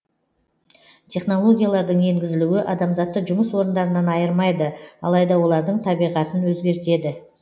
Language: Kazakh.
технологиялардың енгізілуі адамзатты жұмыс орындарынан айырмайды алайда олардың табиғатын өзгертеді